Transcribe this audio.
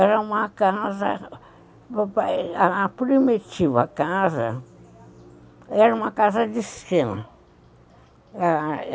Era uma casa, a primitiva casa, era uma casa de esquema.